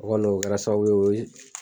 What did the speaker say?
O kɔni o kɛra sababu ye